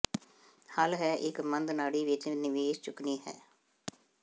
ਹੱਲ ਹੈ ਇੱਕ ਮੱਧ ਨਾੜੀ ਵਿੱਚ ਨਿਵੇਸ਼ ਚੁੱਕਣੀ ਹੈ